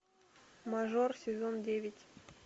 мажор сезон девять